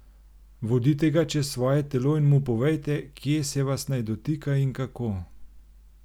Vodite ga čez svoje telo in mu povejte, kje se vas naj dotika in kako.